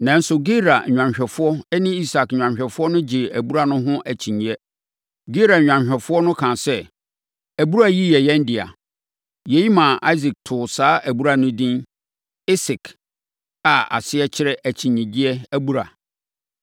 Nanso, Gerar nnwanhwɛfoɔ ne Isak nnwanhwɛfoɔ gyee abura no ho akyinnyeɛ. Gerar nnwanhwɛfoɔ no kaa sɛ, “Abura yi yɛ yɛn dea.” Yei maa Isak too saa abura no edin Esek, a aseɛ kyerɛ akyinnyegyeɛ abura.